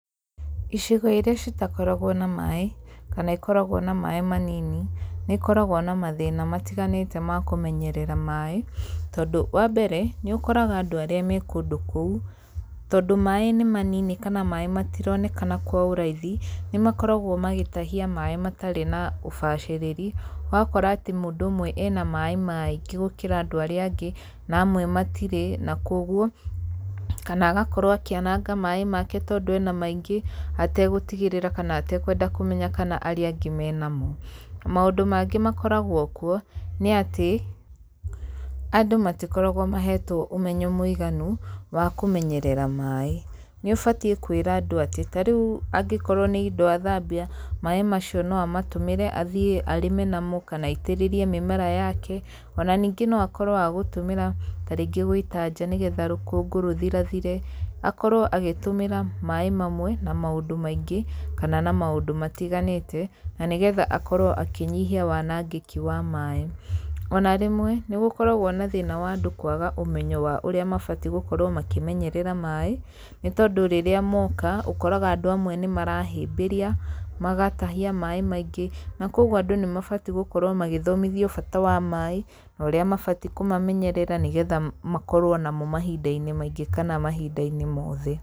Icigo iria citakoragwo na maĩ, kana ikoragwo na maĩ manini, nĩ ikoragwo na mathĩna matiganĩte ma kũmenyerera maĩ, tondũ wa mbere nĩ ũkoraga andũ arĩa me kũndũ kũu, tondũ maĩ nĩ manini kana maĩ matironekana kwa ũraithi, nĩ makoragwo magĩtahia maĩ matarĩ na ũbacĩrĩri, ũgakora atĩ mũndũ ũmwe ena maĩ maingĩ gũkĩra andũ arĩa angĩ, na amwe matirĩ, na koguo, kana agakorwo akĩanaga maĩ make tondũ ena maingĩ, ategũtigĩrĩra kana atekwenda kũmenya kana arĩa angĩ mena mo. Maũndũ mangĩ makoragwo kuo, nĩ atĩ, andũ matikoragwo mahetwo ũmenyo mũiganu wa kũmenyerera maĩ, nĩ ũbatie kwĩra andũ atĩ ta rĩu angĩkorwo nĩ indo athambia, maĩ macio no amatũmĩre athiĩ arĩme namo kana aitĩrĩrie mĩmera yake, ona ningĩ no akorwo agũtũmĩra ta rĩngĩ gũita nja nĩgetha rũkũngũ rũthirathire, akorwo agĩtũmĩra maĩ mamwe na maũndũ maingĩ, kana na maũndũ matiganĩte, na nĩgetha akorwo akĩnyihia wanangĩki wa maĩ. Ona rĩmwe nĩ gũkoragwo na thĩna wa andũ kwaga ũmenyo wa ũrĩa mabatie gũkorwo makĩmenyerera maĩ, nĩ tondũ rĩrĩa moka, ũkoraga andũ amwe nĩ marahĩmbĩria, magatahia maĩ maingĩ, na koguo andũ nĩ mabatie gũkorwo magĩthomithio bata wa maĩ, na ũrĩa mabatie kũmamenyerera nĩgetha makorwo namo mahinda-inĩ maingĩ kana mahinda-inĩ mothe.